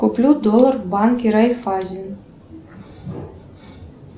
куплю доллар в банке райффайзен